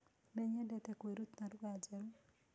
Nĩnyendete kũĩrũta lũgha njerũ